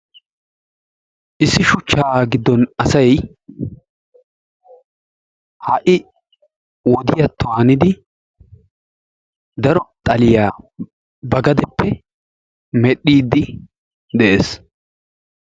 Issi shuchchaa giddon asay ha'i wodiyatto hanidi daro xaliya ba gadeppe medhdhiiddi de'es.